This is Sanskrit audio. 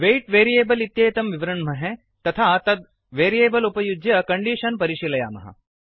वेय्ट् वेरियेबल् इत्येतं विवृण्महे तथा तत् वेरियेबल् उपयुज्य कण्डीषन् परिशीलयामः